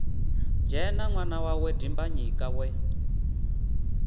dzhena ṅwana wawe dimbanyika we